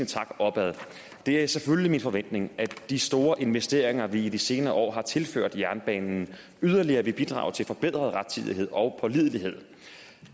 tak opad det er selvfølgelig min forventning at de store investeringer som vi i de senere år har tilført jernbanen yderligere vil bidrage til forbedret rettidighed og pålidelighed